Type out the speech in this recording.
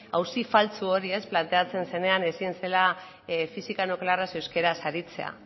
auzi faltsu hori planteatzen zenean ezin zela fisika nuklearraz euskaraz aritzea